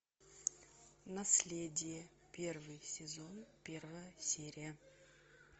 наследие первый сезон первая серия